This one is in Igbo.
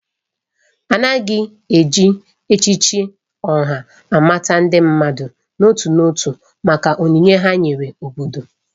A na-eji echichi Oha amata ndị mmadụ n'otu n'otu maka onyinye ha nyere obodo.